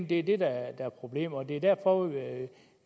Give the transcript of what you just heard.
det er det der er problemet og det er derfor